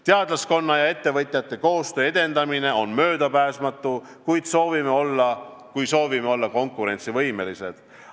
Teadlaskonna ja ettevõtjate koostöö edendamine on möödapääsmatu, kui soovime olla konkurentsivõimelised.